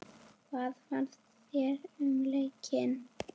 Hvað fannst þér um leikinn?